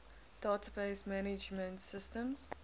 database management systems